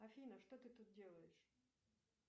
афина что ты тут делаешь